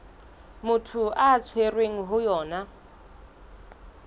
motho a tshwerweng ho yona